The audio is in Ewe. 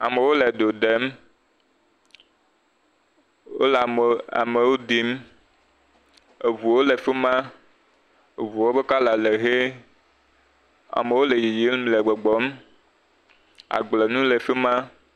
Amewo le do ɖem, wole ameawo ɖim, eŋuwo le fi ma, eŋuwo ƒe kɔla le ʋe, amewo le yiyim le gbɔgbɔm, agblenuwo le fi ma.